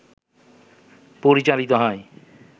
পরিচালিত হয়